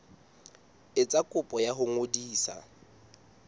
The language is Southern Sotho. etsa kopo ya ho ngodisa